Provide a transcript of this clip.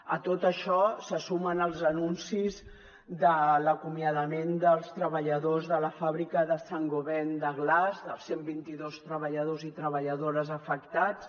a tot això se sumen els anuncis de l’acomiadament dels treballadors de la fàbrica de saint gobain glass dels cent i vint dos treballadors i treballadores afectats